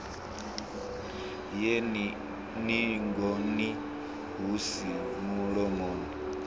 ye ningoni hu si mulomoni